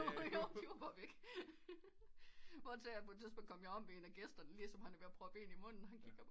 Jo de var bare væk hvortil at jeg på et tidspunkt kom om ved en af gæsterne lige som han er ved at proppe en i munden og han kigger bare